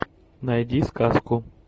найди сказку